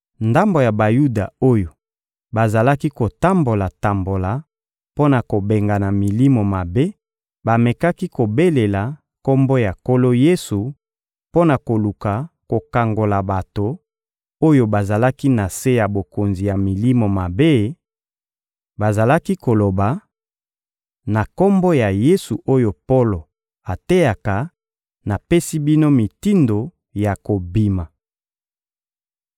Ndambo ya Bayuda oyo bazalaki kotambola-tambola mpo na kobengana milimo mabe bamekaki kobelela Kombo ya Nkolo Yesu mpo na koluka kokangola bato oyo bazalaki na se ya bokonzi ya milimo mabe; bazalaki koloba: — Na Kombo ya Yesu oyo Polo ateyaka, napesi bino mitindo ya kobima.